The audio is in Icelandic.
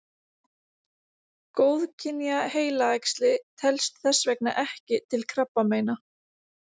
Góðkynja heilaæxli telst þess vegna ekki til krabbameina.